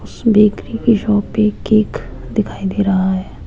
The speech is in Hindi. बेकरी के शॉप पे केक दिखाई दे रहा--